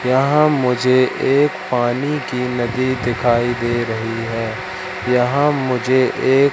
यहां मुझे एक पानी की नदी दिखाई दे रही है। यहां मुझे एक--